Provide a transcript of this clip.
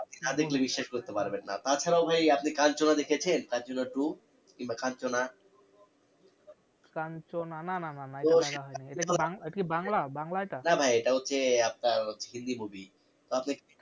না দেখলে বিশ্বাস করতে পারবেন না তাছাড়াও ভাই আপনি কাঞ্চনা দেখেছেন? কাঞ্চনা two? কিংবা কাঞ্চনা কাঞ্চনা না না না এটা দেখা হয়নি এটা কি বাংলা বাংলা এটা? না ভাই এটা হচ্ছে আপনার hindi movie